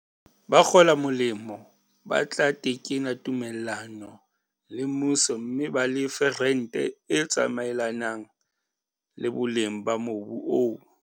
Bakgola molemo ba tla tekena tumellano le mmuso mme ba lefe rente e tsamaelanang le boleng ba mobu oo.